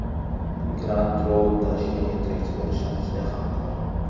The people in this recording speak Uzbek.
Grand Road Tashkent yetakchi va ishonchli hamkor!